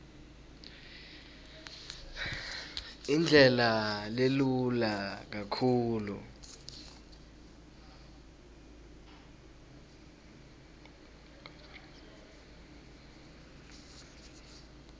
indlela lelula kakhulu